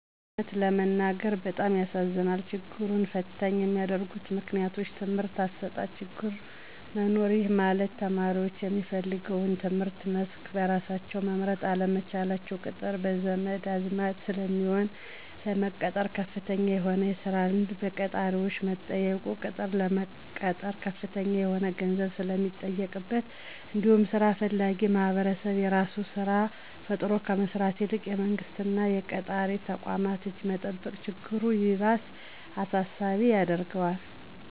የእውነት ለመናገር በጣም ያሳዝነኛል። ችግሩን ፈተኝ ከሚያደርጉት ምክንያቶች:- የትምህርት አሰጣጥ ችግር መኖር:- ይህ ማለት ተማሪዎች የሚፈልገውን የትምህርት መስክ በራሳቸው መምረጥ አለመቻላቸው፤ ቅጥር በዘመድ አዝማድ ስለሚሆን፤ ለመቀጠር ከፍተኛ የሆነ የስራ ልምድ በቀጣሪዎች መጠየቁ፤ ቅጥር ለመቀጠር ከፍተኛ የሆነ ገንዘብ ስለሚጠየቅበት እንዲሁም ስራ ፈላጊዉ ማህበረሰብ የራሱን ስራ ፈጥሮ ከመስራት ይልቅ የመንግስት እና የቀጣሪ ተቋማትን እጅ መጠበቅ ችግሩ ይባስ አሳሳቢ ያደርገዋል።